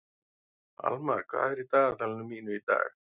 Almar, hvað er í dagatalinu mínu í dag?